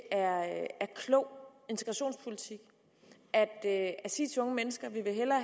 er klog integrationspolitik at sige til unge mennesker at vi hellere